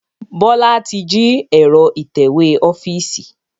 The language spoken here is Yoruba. Bọlá tí jí ẹ̀rọ itẹ̀wẹ́ ọ́fíìsì